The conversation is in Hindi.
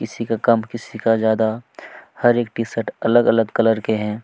किसी का कम किसी का ज्यादा हर एक टीशर्ट अलग-अलग कलर के है।